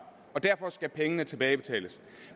og derfor skal pengene tilbagebetales